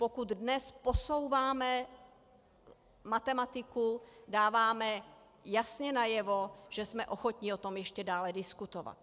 Pokud dnes posouváme matematiku, dáváme jasně najevo, že jsme ochotni o tom ještě dále diskutovat.